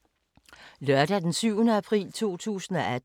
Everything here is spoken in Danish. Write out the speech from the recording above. Lørdag d. 7. april 2018